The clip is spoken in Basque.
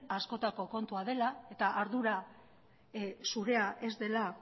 askotako kontua dela eta ardura zurea ez dela